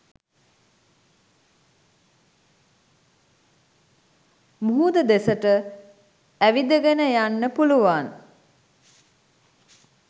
මුහුද දෙසට ඇවිදගෙන යන්න පුළුවන්.